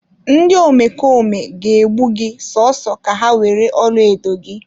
Ndị omekome ga egbu gị so so ka ha were ọlaedo gị.